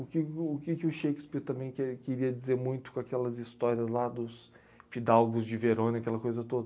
O que que o o que que o Shakespeare também quer queria dizer muito com aquelas histórias lá dos Fidalgos de Verona, aquela coisa toda?